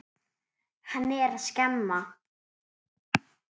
Hann er að skemma.